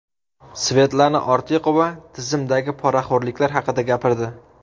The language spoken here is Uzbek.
Svetlana Ortiqova tizimdagi poraxo‘rliklar haqida gapirdi.